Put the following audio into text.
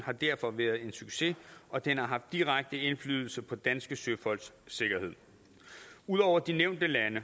har derfor været en succes og den har haft direkte indflydelse på danske søfolks sikkerhed ud over de nævnte lande